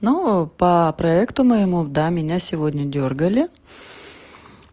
ну по проекту моему да меня сегодня дёргали